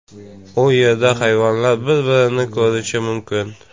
U yerda hayvonlar bir-birini ko‘rishi mumkin.